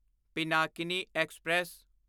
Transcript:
Pinakini express